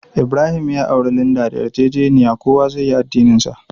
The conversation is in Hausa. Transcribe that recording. Ibrahim ya auri Linda da yarjejeniya kowa zai yi addinin shi.